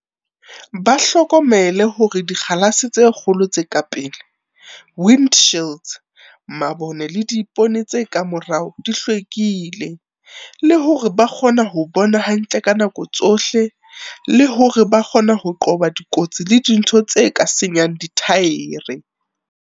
Ba hlokomele hore dikgalase tse kgolo tse ka pele, windshields, mabone le diipone tse ka morao di hlwekile, le hore ba kgona ho bona hantle ka nako tsohle, le hore ba ka kgona ho qoba dikotsi le dintho tse ka senyang dithaere.